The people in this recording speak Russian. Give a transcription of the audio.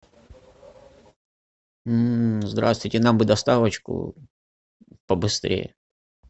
здравствуйте нам бы доставочку побыстрее